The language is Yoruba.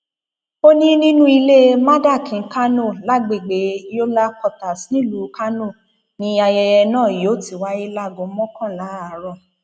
ó ní nínú ilé mardakin kánò lágbègbè yola quarters nílùú kánò ni ayẹyẹ náà yóò ti wáyé láago mọkànlá àárọ